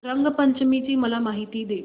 रंग पंचमी ची मला माहिती दे